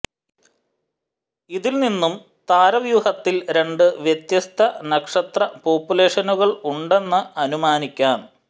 ഇതിൽ നിന്നും താരവ്യൂഹത്തിൽ രണ്ട് വ്യത്യസ്ത നക്ഷത്രപോപ്പുലേഷനുകൾ ഉണ്ടെന്ന് അനുമാനിക്കാം